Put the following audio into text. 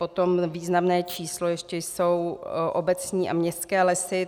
Potom významné číslo ještě jsou obecní a městské lesy.